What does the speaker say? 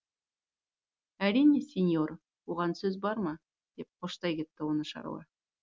әрине сеньор оған сөз бар ма деп қоштай кетті оны шаруа